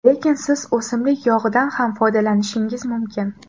Lekin siz o‘simlik yog‘idan ham foydalanishingiz mumkin.